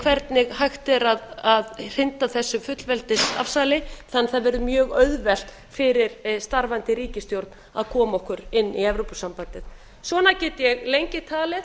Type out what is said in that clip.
hvernig hægt er að hrinda þessu fullveldisafsali þannig að það verði mjög auðvelt fyrir starfandi ríkisstjórn að koma okkur inn í evrópusambandið svona get ég lengi talið